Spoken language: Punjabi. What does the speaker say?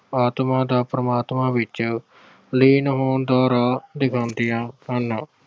ਆਤਮਾ ਦਾ ਪਰਮਾਤਮਾ ਵਿਚ ਲੀਨ ਹੋਣ ਦਾ ਰਾਹ ਦਿਖਾਉਂਦਿਆਂ ਹਨ।